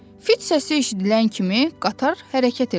Fit səsi eşidilən kimi qatar hərəkət elədi.